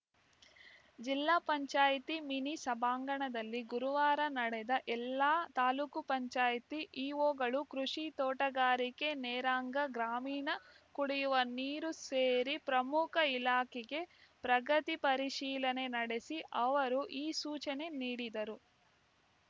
ಜಿಲ್ಲಾ ಪಂಚಾಯತಿ ಮಿನಿ ಸಭಾಂಗಣದಲ್ಲಿ ಗುರುವಾರ ನಡೆದ ಎಲ್ಲ ತಾಲೂಕ್ ಪಂಚಾಯತಿ ಇಒಗಳು ಕೃಷಿ ತೋಟಗಾರಿಕೆ ನರೇಗಾ ಗ್ರಾಮೀಣ ಕುಡಿವ ನೀರು ಸೇರಿ ಪ್ರಮುಖ ಇಲಾಖೆಗೆ ಪ್ರಗತಿ ಪರಿಶೀಲನೆ ನಡೆಸಿ ಅವರು ಈ ಸೂಚನೆ ನೀಡಿದರು